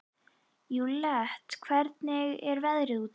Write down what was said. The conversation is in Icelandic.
Júlíetta, hvernig er veðrið úti?